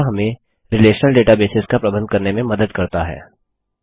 अब यह हमें रिलेशनल डेटाबेस का प्रबंध करने में मदद करता है